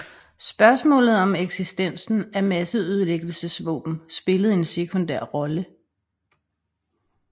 Spørgsmålet om eksistensen af masseødelæggelsesvåben spillede en sekundær rolle